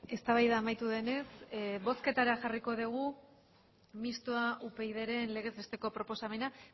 eztabaida amaitu denez bozketara jarriko degu mistoa upydren legez besteko proposamena